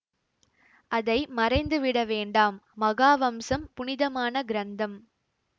அதை மறைந்து விட வேண்டாம் மகா வம்சம் புனிதமான கிரந்தம்